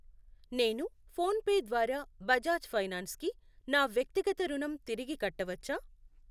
నేను ఫోన్ పే ద్వారా బజాజ్ ఫైనాన్స్ కి నా వ్యక్తిగత రుణం తిరిగి కట్టవచ్చా?